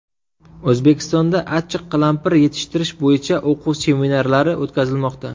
O‘zbekistonda achchiq qalampir yetishtirish bo‘yicha o‘quv-seminarlari o‘tkazilmoqda.